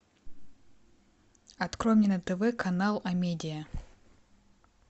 открой мне на тв канал амедиа